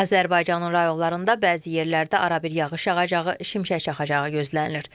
Azərbaycanın rayonlarında bəzi yerlərdə arabir yağış yağacağı, şimşək çaxacağı gözlənilir.